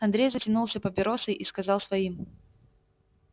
андрей затянулся папиросой и сказал своим